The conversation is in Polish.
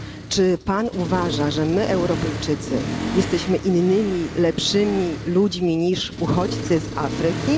Czy Pan uważa, że my, Europejczycy, jesteśmy innymi, lepszymi ludźmi niż uchodźcy z Afryki?